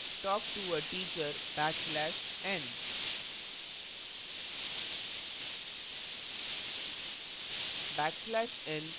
type करें talk to a teacher backslash n